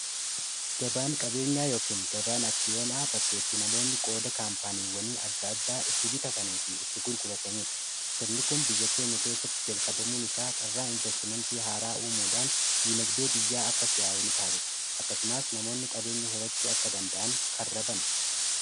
gabaan qabeenyaa yookiin gabaan aksiyoonaa bakkaetti namoonni qooda kaampaaniiwwanii adda addaa itti bitatanii fi itti gulqurataniidha sirnikum biyya keenya keessatti jalqabamuun isaa carraa investimentii haaraa uumuudhaan diinagdee biyyaa akka siyaa'uu ni taasisa akkasumaas namoonni qabeenya horachuu akka danda'an karrabana